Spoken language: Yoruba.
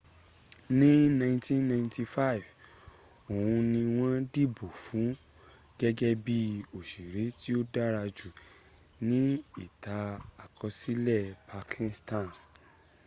ní 1995 oun ni wọn dìbò fun gégé bi òsèré tí o dárajù nií ìtàn-àkọsílè partizan